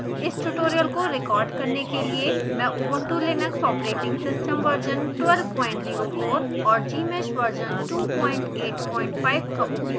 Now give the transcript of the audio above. इस ट्यूटोरियल को रिकॉर्ड करने के लिए मैं Ubuntu Linux operating system version 1204 और gmsh वर्जन 285 का उपयोग कर रही हूँ